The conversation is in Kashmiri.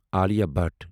عالیہ بھٹ